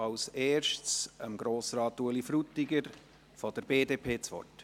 – Als Erstes hat Ueli Frutiger für die BDP das Wort.